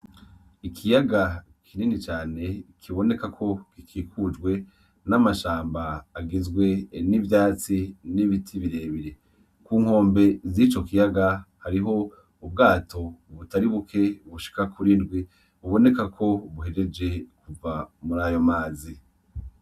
Ikiyaga kinini cane kiboneka ko gikikujwe n'amashamba agizwe n'ivyatsi , n'ibiti birebire. Ku nkombe zico kiyaga hariho ubwato butari buke bushika kuri ndwi buboneka ko buhejeje kuva muri ayo mazi.